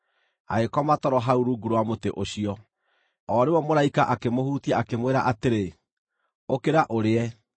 Agĩkoma toro hau rungu rwa mũtĩ ũcio. O rĩmwe mũraika akĩmũhutia, akĩmwĩra atĩrĩ, “Ũkĩra ũrĩe.”